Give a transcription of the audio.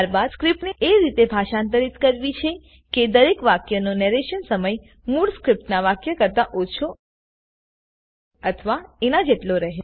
ત્યારબાદ સ્ક્રીપ્ટ એ રીતે ભાષાંતરિત કરવી છે કે દરેક વાક્યનો નેરેશન સમય મૂળ સ્ક્રીપ્ટનાં વાક્ય કરતા ઓછો અથવા એનાં જેટલો રહે